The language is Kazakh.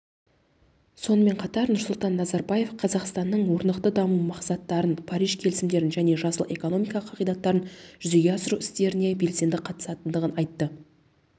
сонымен қатар нұрсұлтан назарбаев қазақстанның орнықты даму мақсаттарын париж келісімдерін және жасыл экономика қағидаттарын жүзеге асыру істеріне белсенді қатысатындығын айтты